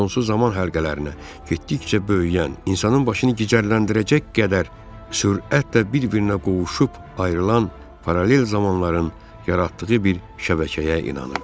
Sonsuz zaman həlqələrinə getdikcə böyüyən, insanın başını gicərləndirəcək qədər sürətlə bir-birinə qovuşub ayrılan paralel zamanların yaratdığı bir şəbəkəyə inanırdı.